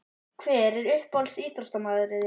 Hver er uppáhalds íþróttamaður þinn?